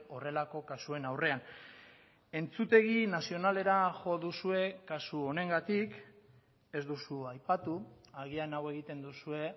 horrelako kasuen aurrean entzutegi nazionalera jo duzue kasu honengatik ez duzu aipatu agian hau egiten duzue